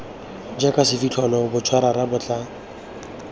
jaka sefitlholo botšarara bo tla